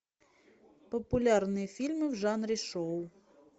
популярные фильмы в жанре шоу